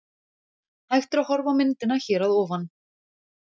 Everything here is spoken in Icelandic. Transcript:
Hægt er að horfa á myndina hér að ofan.